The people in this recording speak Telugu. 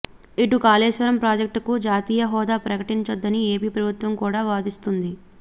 ఇటు కాళేశ్వరం ప్రాజెక్టుకు జాతీయ హోదా ప్రకటించొద్దని ఏపీ ప్రభుత్వం కూడా వాదిస్తోంది